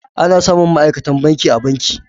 Ana samun ma'aikatan banki a banki.